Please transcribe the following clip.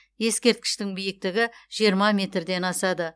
ескерткіштің биіктігі жиырма метрден асады